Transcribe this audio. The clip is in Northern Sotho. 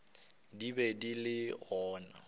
di be di le gona